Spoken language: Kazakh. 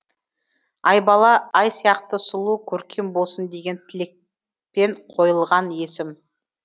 аи бала ай сияқты сұлу көркем болсын деген тілекпен қойылған есім